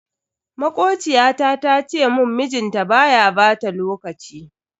Makociyata ta ce mun mijinta baya bata lokaci.